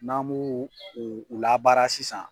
N'an mu u labaara sisan.